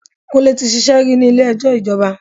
Kúnlé ti ṣíṣe rí ní ilé ẹjọ́ ìjọba.